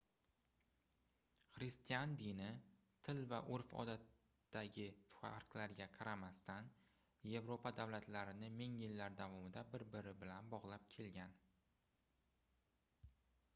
xristian dini til va urf-odatdagi farqlarga qaramasdan yevropa davlatlarini ming yillar davomida bir-biri bilan bogʻlab kelgan